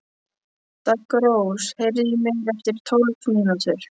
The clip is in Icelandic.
Daggrós, heyrðu í mér eftir tólf mínútur.